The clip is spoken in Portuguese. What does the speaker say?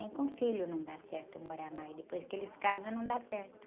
Nem com filho não dá certo morar mais, depois que eles casam não dá certo.